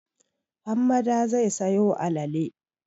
Hammada zai sayo alale.